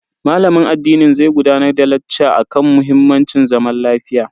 Malamin addinin zai gudanar da lacca akan muhimmancin zaman lafiya.